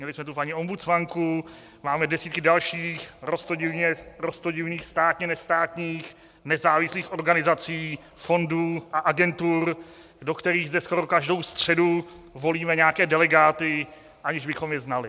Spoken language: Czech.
Měli jsme tu paní ombudsmanku, máme desítky dalších roztodivných státně nestátních nezávislých organizací, fondů a agentur, do kterých zde skoro každou středu volíme nějaké delegáty, aniž bychom je znali.